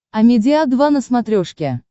амедиа два на смотрешке